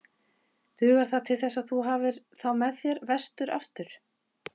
Dugar það til þess að þú hafir þá með þér vestur aftur?